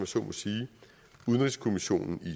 så må sige udenrigskommissionen i